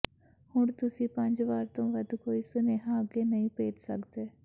ਹੁਣ ਤੁਸੀਂ ਪੰਜ ਵਾਰ ਤੋਂ ਵੱਧ ਕੋਈ ਸੁਨੇਹਾ ਅੱਗੇ ਨਹੀਂ ਭੇਜ ਸਕਦੇ